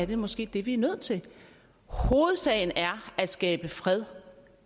det måske det vi er nødt til hovedsagen er at skabe fred